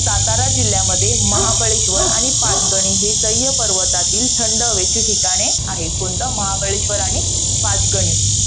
सातारा जिल्ह्यामध्ये, महाबळेश्वर आणि पाचगणी हे सह्य पर्वतातील थंड हवेचे ठिकाणे आहेत. कोणतं? महाबळेश्वर आणि पाचगणी.